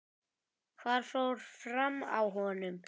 Hvað fór fram á honum?